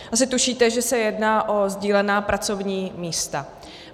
Asi tušíte, že se jedná o sdílená pracovní místa.